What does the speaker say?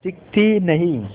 दिखती नहीं